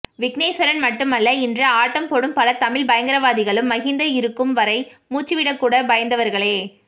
விக்னேஷ்வரன் மட்டுமல்ல இன்று ஆட்டம் போடும் பல தமிழ் பயங்கரவாதிகளும் மஹிந்த இருக்கும்வரை மூச்சுவிடக்கூட பயந்தவர்களே